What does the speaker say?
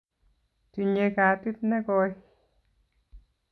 Tinyei gatit negooy